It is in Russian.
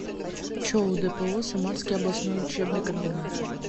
чоу дпо самарский областной учебный комбинат